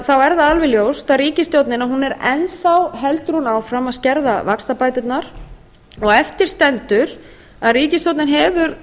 það alveg ljóst að ríkisstjórnin heldur enn áfram að skerða vaxtabæturnar eftir stendur að ríkisstjórnin hefur